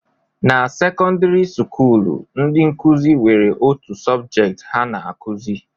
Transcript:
Na sekọndịrị skuulu, ndị nkụzi nwere otu sọbjet ha na-akụzi